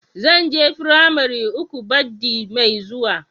Zan je firamari uku baddi Mai zuwa.